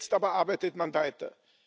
Jetzt aber arbeitet man weiter.